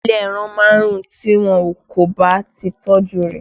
Ilé ẹran máa ń rùn tí wọn kò bá ti tọ́jú rẹ̀